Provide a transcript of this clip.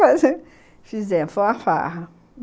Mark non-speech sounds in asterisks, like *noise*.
*unintelligible* Fizemos, foi uma farra.